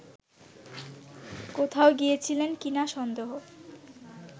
কোথাও গিয়েছিলেন কিনা সন্দেহ